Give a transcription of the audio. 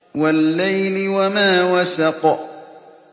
وَاللَّيْلِ وَمَا وَسَقَ